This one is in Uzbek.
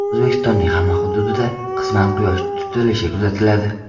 O‘zbekistonning hamma hududida qisman Quyosh tutilishi kuzatiladi.